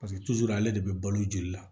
Paseke ale de bɛ balo joli la